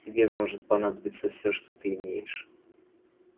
тебе может понадобиться всё что ты имеешь